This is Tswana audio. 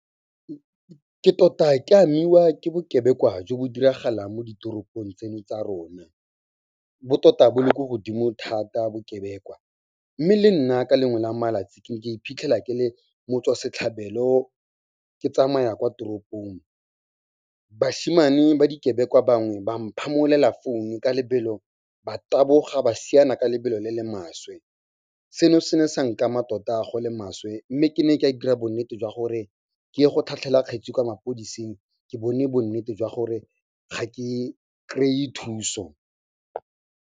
Ke tota ke amiwa ke bokebekwa jo bo diragalang mo ditoropong tseno tsa rona. Bo tota bo le ko godimo thata bokebekwa, mme le nna ke lengwe la malatsi ke iphitlhela ke le motswasetlhabelo. Ke tsamaya kwa toropong, bashimane ba dikebekwa bangwe ba mphamolela founu ka lebelo, ba taboga ba siana ka lebelo le le maswe. Seno se ne sa nkama mmatota go le maswe mme ke ne ka e dira bonnete jwa gore ke ye go tlhatlhela kgetsi kwa mapodiseng, ke bone bo nnete jwa gore ga ke kry-e thuso.